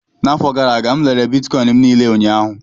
N'afọ gara aga, m rere Bitkọịn m niile ụnyaahụ